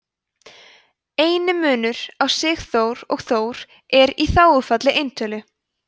eini munur á sigurþór og þór er í þágufalli eintölu